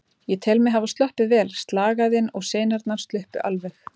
Ég tel mig hafa sloppið vel, slagæðin og sinarnar sluppu alveg.